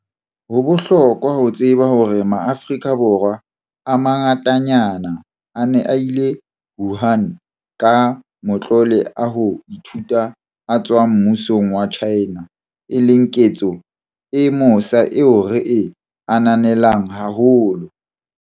Ho bohlokwa ho tseba hore Maafrika Borwa a mangatanyana a ne a ile Wuhan ka matlole a ho ithuta a tswang mmusong wa China, e leng ketso e mosa eo re e ananelang haholo.